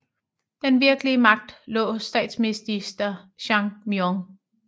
Den virkelige magt lå hos statsminister Chang Myon